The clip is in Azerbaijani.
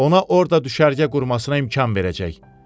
Ona orda düşərgə qurmasına imkan verəcək.